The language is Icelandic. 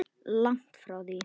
Langt frá því.